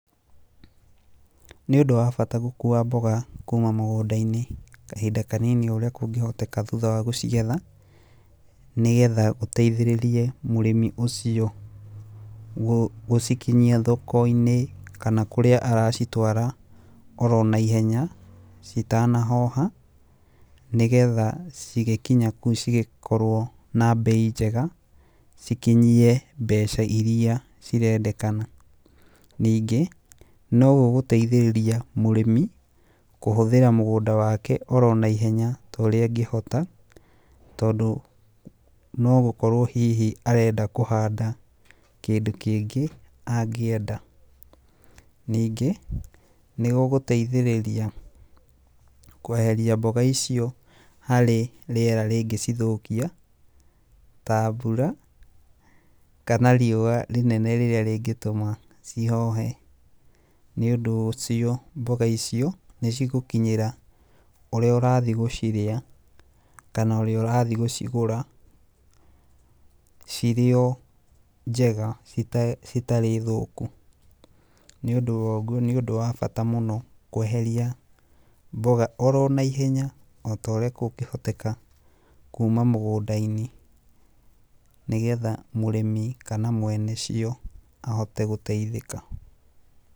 Nĩ ũndũ wa bata gũkuua mboga kuuma mũgũnda-inĩ kahinda kanini o ũrĩa kũngĩhoteka thutha wa gũcigetha, nĩgetha ũteithĩrĩrie mũrĩmi ũcio gũcikinyia thoko-inĩ, kana kũrĩa aracitwara oronaihenya citanahoha, nĩgetha cigĩkinya kũu cigĩkorwo na mbei njega, cikinyie mbeca iria cirendekana, ningĩ no gũgũteithĩrĩria mũrĩmi kũhũthĩra mũgũnda wake oronaihenya torĩa ngĩhota, tondũ no gũkorwo hihi arenda kũhanda kĩndũ kĩngĩ angĩenda, ningĩ nĩ gũgũteithĩrĩria kweheria mboga icio harĩ rĩera rĩngĩcithũkia, ta mbura, kana riũwa rĩnene rĩrĩa rĩngĩtũma cihohe, nĩ ũndũ ũcio mboga icio nĩ cigũkinyĩra ũrĩa ũrathii gũciria, kana ũrĩa ũrathii gũcigũra cirio o njega citarĩ thũku, nĩũndũ woguo nĩ ũndũ wa bata mũno kweheria mboga oronaihenya o toria kũngĩhetũka kuuma mũgũnda-inĩ, nĩ getha mũrĩmi kana mwene cio ahote gũteithĩka.